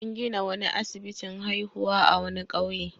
An gina wani asibitin haihuwa a wani ƙauye.